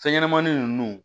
Fɛn ɲɛnɛmanin nunnu